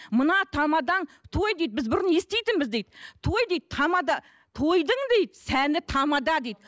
мына тамадаң той дейді біз бұрын еститінбіз дейді той дейді тамада тойдың дейді сәні тамада дейді